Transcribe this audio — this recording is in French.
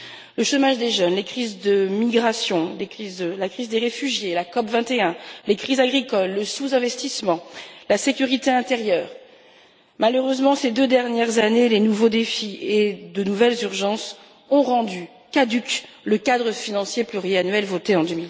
Le chômage des jeunes, les crises migratoires, la crise des réfugiés, la COP 21, les crises agricoles, le sous investissement, la sécurité intérieure malheureusement, ces deux dernières années, les nouveaux défis et de nouvelles urgences ont rendu caduc le cadre financier pluriannuel voté en